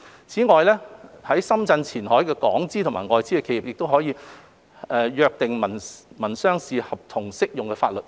此外，在深圳前海的港資及外資企業可以約定民商事合同適用的法律。